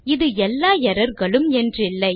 இது எல்லா எர்ரர் களும் என்றில்லை